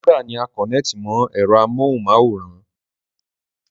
Dìkódà ni a kọ̀nẹ́ẹ̀tì mọ ẹ̀rọ amóhunmáwòrán